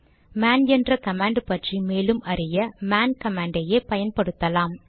man என்ற command பற்றி மேலும் அறிய மேன் கமாண்டை யே பயன்படுத்தலாம்